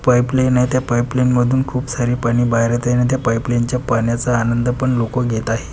Pipeline आहे त्या pipeline मधून खूप सारी पाणी बाहेर येत आहे आणि त्या पाइपलाइन च्या पाण्याचा आनंद पण लोकं घेत आहेत.